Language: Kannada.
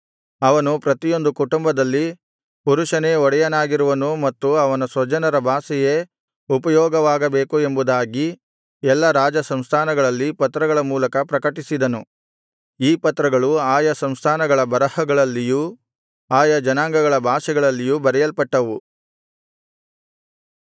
ಅವನು ಪ್ರತಿಯೊಂದು ಕುಟುಂಬದಲ್ಲಿ ಪುರುಷನೇ ಒಡೆಯನಾಗಿರುವನು ಮತ್ತು ಅವನ ಸ್ವಜನರ ಭಾಷೆಯೇ ಉಪಯೋಗವಾಗಬೇಕು ಎಂಬುದಾಗಿ ಎಲ್ಲಾ ರಾಜ ಸಂಸ್ಥಾನಗಳಲ್ಲಿ ಪತ್ರಗಳ ಮೂಲಕ ಪ್ರಕಟಿಸಿದನು ಈ ಪತ್ರಗಳು ಆಯಾ ಸಂಸ್ಥಾನಗಳ ಬರಹಗಳಲ್ಲಿಯೂ ಆಯಾ ಜನಾಂಗಗಳ ಭಾಷೆಗಳಲ್ಲಿಯೂ ಬರೆಯಲ್ಪಟ್ಟವು